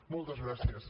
moltes gràcies